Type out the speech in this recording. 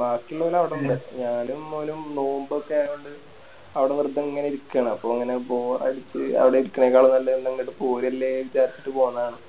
ബാക്കിയുള്ളോല് അവിടെ ഇണ്ട് ഞാനും ഓനും നോമ്പ് ഒക്കെ ആയകൊണ്ട് അവിടെ വെറുതെ ഇങ്ങനെ ഇരിക്കാണ് അപ്പൊ അങ്ങനെ Boar അടിച്ച് അവിടെ ഇരിക്കണേ ക്കാളും നല്ലെ ഇങ്ങട് പോരുവല്ലെ വിചാരിച്ചിട്ട് പോന്നതാണ്